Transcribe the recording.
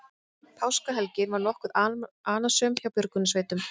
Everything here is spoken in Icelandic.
Páskahelgin var nokkuð annasöm hjá björgunarsveitum